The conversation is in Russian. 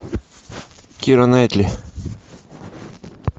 кира найтли